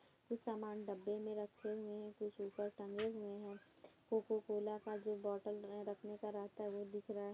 कुछ सामान डब्‍बे में रखे हुए हैं कुछ ऊपर टंगे हुए हैं कोको कोला का जो बॉटल ए रखने का रहता है वो दिख रहा है।